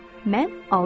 Mən aldım.